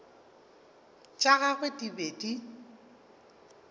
tša gagwe di be di